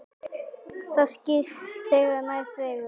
Það skýrist þegar nær dregur.